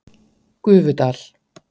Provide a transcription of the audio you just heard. Gufudal